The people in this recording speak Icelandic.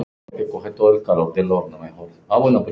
Ekkert nema það allra besta.